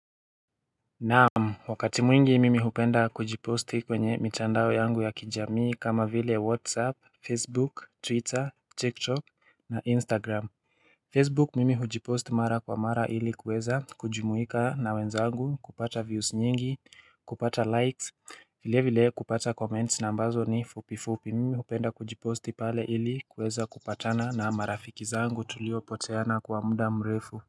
Naamu wakati mwingi mimi hupenda kujiposti kwenye mitandao yangu ya kijamii kama vile whatsapp facebook twitter tiktok na instagram Facebook mimi hujipost kwa mara ili kuweza kujumuika na wenzangu kupata views nyingi kupata likes vile vile kupata comments na ambazo ni fupi fupi mimi hupenda kujiposti pale ili kuweza kupatana na marafiki zangu tulio poteana kwa muda mrefu.